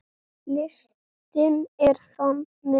Listinn er þannig